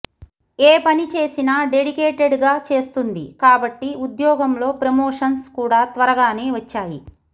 ఏపని చేసినా డెడికేటెడ్ గా చేస్తుంది కాబట్టి ఉద్యోగంలో ప్రమోషన్స్ కూడా త్వరగానే వచ్చాయి